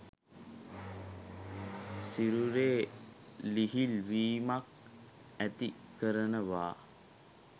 සිරුරේ ලිහිල් වීමක් ඇති කරනවා.